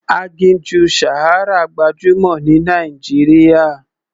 Aginjù Sahara gbajúmọ̀ ní Nàìjíríà.